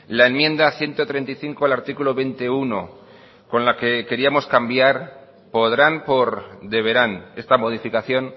la enmienda ciento treinta y cinco el artículo veinte punto uno con la que queríamos cambiar podrán por deberán esta modificación